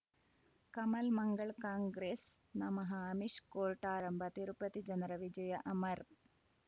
Kamal Mangal Congress ನಮಃ Amish court ಆರಂಭ ತಿರುಪತಿ ಜನರ ವಿಜಯ ಅಮರ್